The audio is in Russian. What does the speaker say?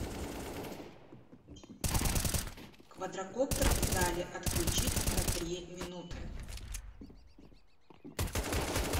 квадракоптер в зале отключить на три минуты